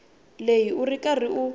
leyi u ri karhi u